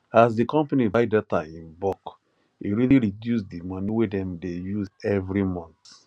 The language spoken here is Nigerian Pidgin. as the company buy data in bulk e really reduce the money wey dem dey use every month